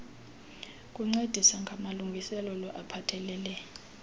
kuncedisa ngamalungiselelo aphathelele